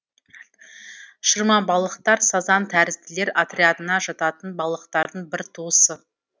шырмабалықтар сазан тәрізділер отрядына жататын балықтардың бір туысы